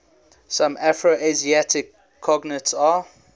some afroasiatic cognates are